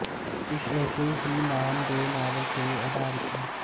ਇਸ ਇਸੇ ਹੀ ਨਾਮ ਦੇ ਨਾਵਲ ਤੇ ਅਧਾਰਿਤ ਹੈ